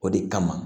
O de kama